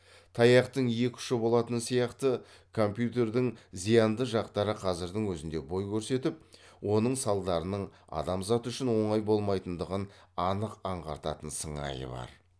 таяқтың екі ұшы болатыны сияқты компьютердің зиянды жақтары қазірдің өзінде бой көрсетіп оның салдарының адамзат үшін оңай болмайтындығын анық аңғартқан сыңайы бар